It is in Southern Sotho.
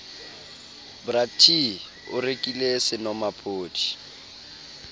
bra t o rekile senomaphodi